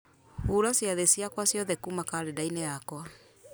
hura ciathĩ ciakwa ciothe kuma karenda-inĩ yakwa